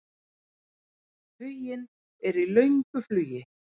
Huginn er í löngu flugi.